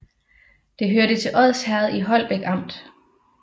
Det hørte til Odsherred i Holbæk Amt